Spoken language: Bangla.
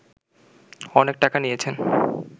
অনেক টাকা নিয়েছেন